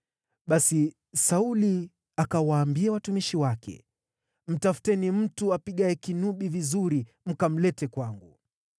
Basi Sauli akawaambia watumishi wake, “Mtafuteni mtu apigaye kinubi vizuri mkamlete kwangu.”